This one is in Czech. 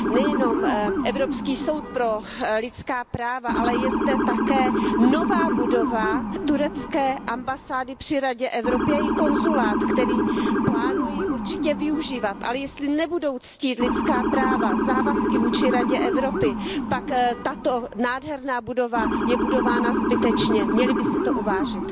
Nejenom Evropský soud pro lidská práva, ale je zde také nová budova turecké ambasády při Radě Evropy i její konzulát, který plánují určitě využívat, ale jestli nebudou ctít lidská práva, závazky vůči Radě Evropy, pak tato nádherná budova je budována zbytečně. Měli by si to uvážit.